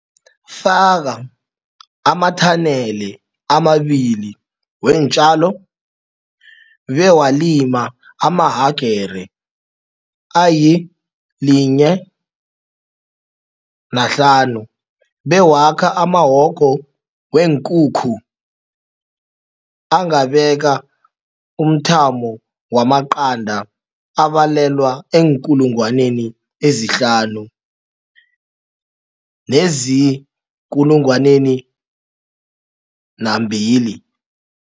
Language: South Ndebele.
Faka ama-tunnel amabili weentjalo bewalima amahagere ayi-1.5 bewakha amawogo weenkukhu angabeka umthamo waqanda abalelwa eenkulungwaneni ezihlanu, 5000, nezii-2000.